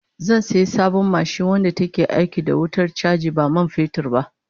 Zan sayi sabon mashin wadda take aiki da wutar chaji ba man fetur ba